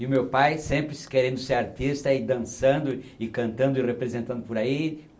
E o meu pai sempre querendo ser artista e dançando e cantando e representando por aí.